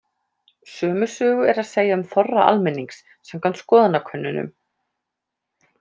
Sömu sögu er að segja um þorra almennings, samkvæmt skoðanakönnunum.